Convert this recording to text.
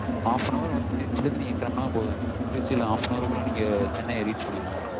half an hour வந்து நீங்க திருச்சில இருந்து கெளம்புனா போதும் திருச்சில half an hour க்குள்ள சென்னைய reach பண்ணிடலாம்